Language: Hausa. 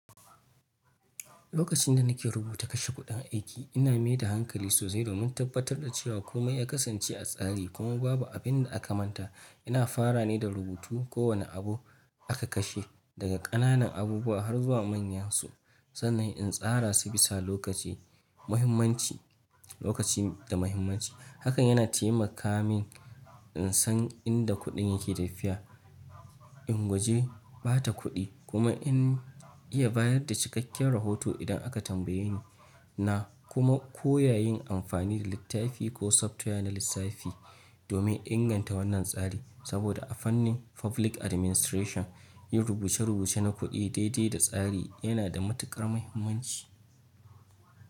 Lokacin da nake rubuta kashe kuɗin aiki, ina maida hankali sosai domin tabbatar da cewa komai ya kasance a tsari kuma babu abin da aka manta. Ina fara ne da rubutu kowane abu aka kashe, daga ƙananan abubuwa har zuwa manyansu, sannan in tsara su bisa lokaci da muhimmanci. Hakan yana taimaka min in san inda kuɗin yake tafiya, in guje ɓata kuɗi, kuma in iya bayar da cikakken rahoto idan aka tambaye ni. Na kuma koya yin amfani da littafi ko software na lissafi domin inganta wannan tsari, saboda a fannin public administration, yin rubuce-rubuce na kuɗi daidai da tsari yana da matukar muhimmanci.